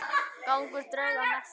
Gangur drauga mesti.